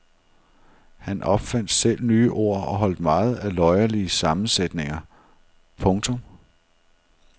Han opfandt selv nye ord og holdt meget af løjerlige sammensætninger. punktum